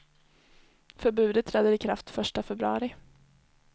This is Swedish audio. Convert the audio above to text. Förbudet träder i kraft första februari.